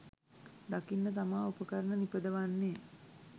දකින්න තමා උපකරණ නිපදවන්නෙ